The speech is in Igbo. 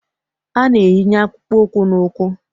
A na-eyinye akpụkpọ ụkwụ n'ụkwụ